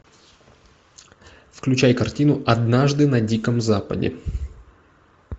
включай картину однажды на диком западе